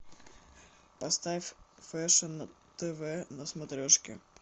поставь фэшн тв на смотрешке